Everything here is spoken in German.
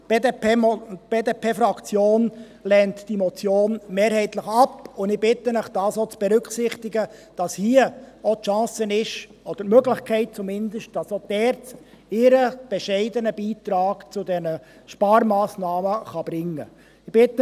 Die BDP-Fraktion lehnt diese Motion mehrheitlich ab, und ich bitte Sie, auch zu berücksichtigen, dass hier die Chance oder zumindest die Möglichkeit besteht, dass auch die ERZ ihren bescheidenen Beitrag zu diesen Sparmassnahmen leisten kann.